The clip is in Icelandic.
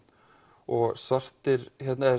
og svartir